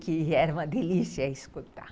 Que era uma delícia escutar.